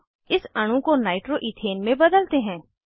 अब इस अणु को नाइट्रो इथेन में बदलते हैं